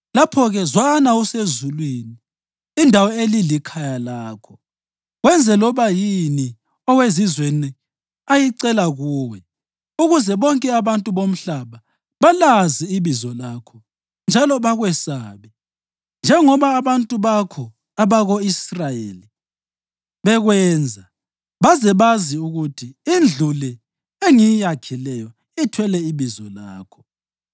lapho-ke zwana usezulwini, indawo elilikhaya lakho, wenze loba yini owezizweni ayicela kuwe, ukuze bonke abantu bomhlaba balazi ibizo lakho njalo bakwesabe, njengoba abantu bakho abako-Israyeli bekwenza, baze bazi ukuthi indlu le engiyakhileyo ithwele iBizo lakho.